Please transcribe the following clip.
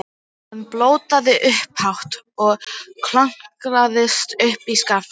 Hann blótaði upphátt og klöngraðist upp í skafl.